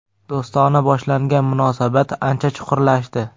Do‘stona boshlangan munosabat ancha chuqurlashdi.